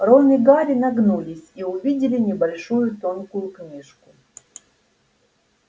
рон и гарри нагнулись и увидели небольшую тонкую книжку